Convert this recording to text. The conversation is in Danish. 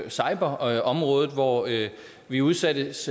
cyberområdet hvor vi udsættes